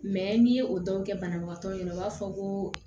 n'i ye o dɔw kɛ banabagatɔ ɲɛna o b'a fɔ ko